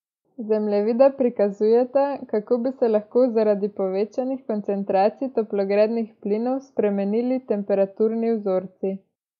Zemljevida prikazujeta, kako bi se lahko zaradi povečanih koncentracij toplogrednih plinov spremenili temperaturni vzorci.